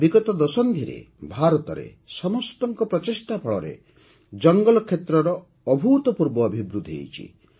ବିଗତ ଦଶନ୍ଧିରେ ଭାରତରେ ସମସ୍ତଙ୍କ ପ୍ରଚେଷ୍ଟା ଫଳରେ ଜଙ୍ଗଲ କ୍ଷେତ୍ରର ଅଭୂତପୂର୍ବ ଅଭିବୃଦ୍ଧି ଘଟିଛି